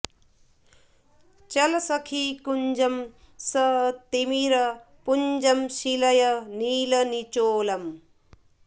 चल सखि कुन्जम् स तिमिर पुंजम् शीलय नील निचोलम्